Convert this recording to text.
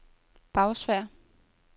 Bagsværd